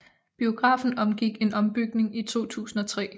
Biografen omgik en ombygning i 2003